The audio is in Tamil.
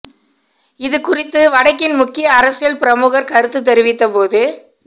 இது குறித்து வடக்கின் முக்கிய அரசியல் பிரமுகர் கருத்து தெரிவித்த போது